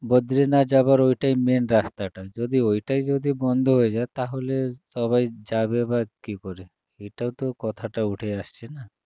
বদ্রীনাথ যাও্যার ওটাই main রাস্তাটা যদি ওইটাই যদি বন্ধ হয়ে যায় তাহলে সবাই যাবে বা কী করে এতা তো কথাটা উঠে আসছে না